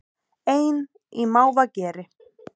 Ein í mávageri